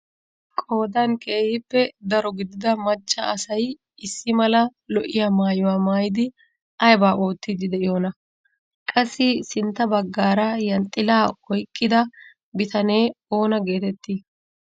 Qoodan keehippe daro gidida macca asay issi mala lo"iyaa maayuwaa maayidi aybaa oottiidi de'iyoonaa? Qassi sintta baggaara yanxxilaa oyqqida bitanee oona getettii?